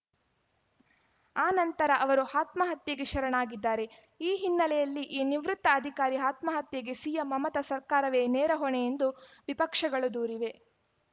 ಆ ನಂತರ ಅವರು ಆತ್ಮಹತ್ಯೆಗೆ ಶರಣಾಗಿದ್ದಾರೆ ಈ ಹಿನ್ನೆಲೆಯಲ್ಲಿ ಈ ನಿವೃತ್ತ ಅಧಿಕಾರಿ ಆತ್ಮಹತ್ಯೆಗೆ ಸಿಎಂ ಮಮತಾ ಸರ್ಕಾರವೇ ನೇರ ಹೊಣೆ ಎಂದು ವಿಪಕ್ಷಗಳು ದೂರಿವೆ